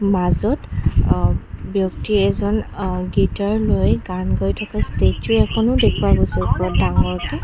মাজত অ ব্যক্তি এজন অ গিটাৰ লৈ গান গাই থকা ষ্টেচু এখনো দেখুওৱা গৈছে ইয়াত ডাঙৰ কে।